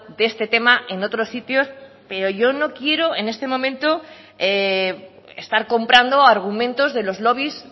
de este tema en otros sitios pero yo no quiero en este momento estar comprando argumentos de los lobbies